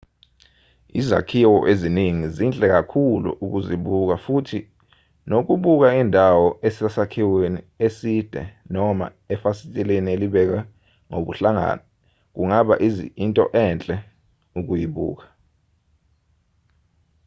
izakhiwo eziningi zinhle kakhulu ukuzibuka futhi nokubuka indawo usesakhiweni eside noma efasiteleni elibekwe ngobuhlakani kungaba into enhle ukuyibuka